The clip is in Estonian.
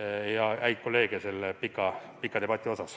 häid kolleege sellest.